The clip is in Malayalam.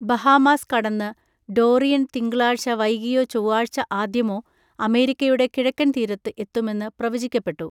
ബഹാമാസ് കടന്ന് ഡോറിയൻ തിങ്കളാഴ്ച വൈകിയോ ചൊവ്വാഴ്ച ആദ്യമോ അമേരിക്കയുടെ കിഴക്കൻ തീരത്ത് എത്തുമെന്ന് പ്രവചിക്കപ്പെട്ടു.